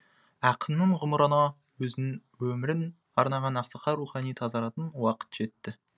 ақынның ғұмырыны өзінің өмірін арнаған ақсақал рухани тазаратын уақыт жетті